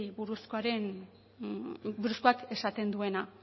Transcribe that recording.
buruzkoak esaten duena